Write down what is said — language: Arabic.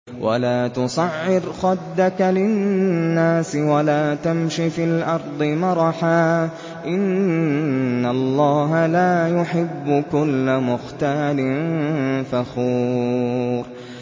وَلَا تُصَعِّرْ خَدَّكَ لِلنَّاسِ وَلَا تَمْشِ فِي الْأَرْضِ مَرَحًا ۖ إِنَّ اللَّهَ لَا يُحِبُّ كُلَّ مُخْتَالٍ فَخُورٍ